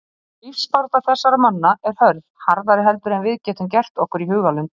Lífsbarátta þessara manna er hörð, harðari heldur en við getum gert okkur í hugarlund.